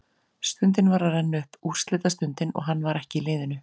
Stundin var að renna upp, úrslitastundin, og hann var ekki í liðinu!